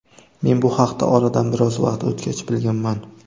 Men bu haqda oradan biroz vaqt o‘tgach bilganman.